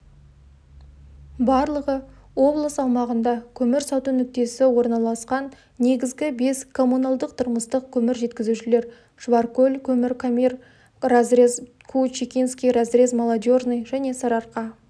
барлығы облыс аумағында көмір сату нүктесі орналасқан негізгі бес коммуналдық-тұрмыстық көмір жеткізушілер шұбаркөл көмір комир разрез куу-чекинский разрез молодежный және сарыарка